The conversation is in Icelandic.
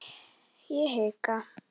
Þær eru kynntar fyrir honum.